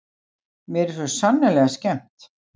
Mér er svo sannarlega skemmt.